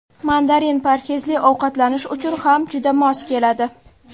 Mandarin parhezli ovqatlanish uchun ham juda mos keladi.